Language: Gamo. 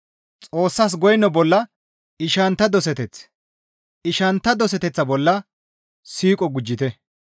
Xoossas goyno bolla ishanttara doseteth, ishanttara doseteththa bolla siiqo gujjite.